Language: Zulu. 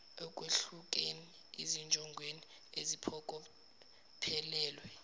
ekwehlukeni ezinjongweni eziphokophelelwe